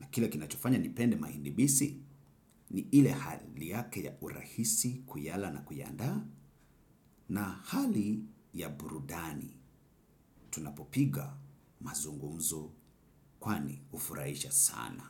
na kile kinachofanya nipende mahindi bisi ni ile hali yake ya urahisi kuyala na kuiandaa na hali ya burudani. Tunapopiga mazungumzo kwani hufurahisha sana.